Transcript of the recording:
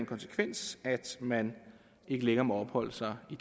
konsekvens at man ikke længere må opholde sig i